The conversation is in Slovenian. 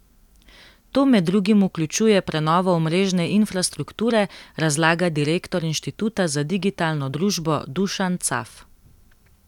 To med drugim vključuje prenovo omrežne infrastrukture, razlaga direktor inštituta za digitalno družbo Dušan Caf.